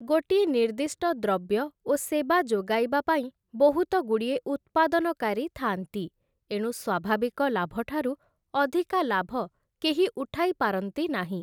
ଗୋଟିଏ ନିର୍ଦ୍ଦିଷ୍ଟ ଦ୍ରବ୍ୟ ଓ ସେବା ଯୋଗାଇବା ପାଇଁ ବହୁତ ଗୁଡ଼ିଏ ଉତ୍ପାଦନକାରୀ ଥାଆନ୍ତି ଏଣୁ ସ୍ଵାଭାବିକ ଲାଭଠାରୁ ଅଧିକା ଲାଭ କେହି ଉଠାଇପାରନ୍ତି ନାହିଁ ।